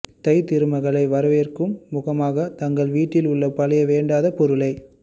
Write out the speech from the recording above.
தை திருமகளை வரவேற்கும் முகமாக தங்கள் வீட்டில் உள்ள பழைய வேண்டாத பொருட்களை